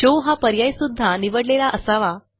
show हा पर्याय सुध्दा निवडलेला असावा